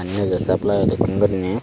pani ejer supply o dokkin guriney.